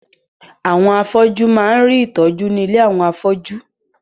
Àwọn afọ́jú máa ń rí ìtọ́jú ní ilé àwọn afọ́jú.